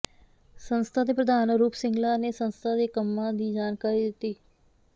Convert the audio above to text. ਸੰਸਥਾ ਦੇ ਪ੍ਰਧਾਨ ਅਰੂਪ ਸਿੰਗਲਾ ਨੇ ਸੰਸਥਾ ਦੇ ਕੰਮਾਂ ਦੀ ਜਾਣਕਾਰੀ ਦਿੱਤੀ